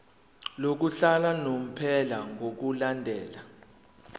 lokuhlala unomphela ngokulandela